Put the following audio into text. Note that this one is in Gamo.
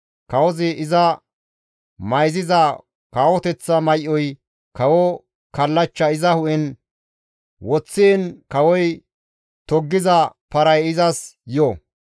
kawozi iza mayziza kawoteththa may7oy, kawo kallachcha iza hu7en woththiin kawoy toggiza paray izas yo.